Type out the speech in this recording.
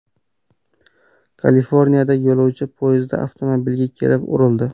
Kaliforniyada yo‘lovchi poyezdi avtomobilga kelib urildi .